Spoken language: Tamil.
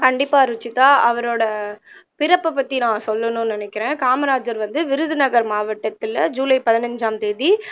கண்டிப்பா ருஷிதா அவரோட பிறப்பை பத்தி நான் சொல்லணும்னு நான் நினைக்கிறேன் காமராஜர் வந்து விருதுநகர் மாவட்டத்துல ஜூலை பதினைஞ்சாம் தேதி